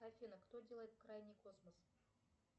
афина кто делает крайний космос